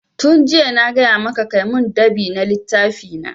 Tun jiya na gaya maka ka mun dab'i na littafi na!